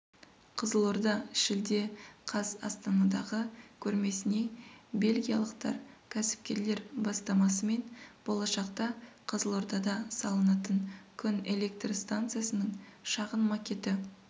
қызылорда шілде қаз астанадағы көрмесіне бельгиялықтар кәсіпкерлер бастамасымен болашақта қызылордада салынатын күн электр станциясының шағын макеті